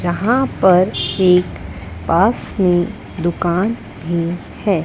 यहां पर एक पास में दुकान भी है।